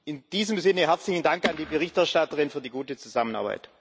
In diesem Sinne herzlichen Dank an die Berichterstatterin für die gute Zusammenarbeit.